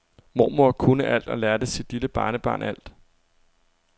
Mormor kunne alt og lærte sit lille barnebarn alt.